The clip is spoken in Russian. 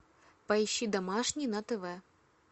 поищи домашний на тв